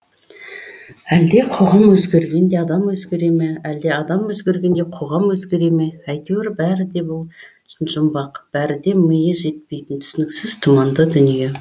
әлде қоғам өзгергенде адам өзгере ме әлде адам өзгергенде қоғам өзгере ме әйтеуір бәрі де бұл үшін жұмбақ бәрі де миы жетпейтін түсініксіз тұманды дүние